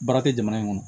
Baara tɛ jamana in kɔnɔ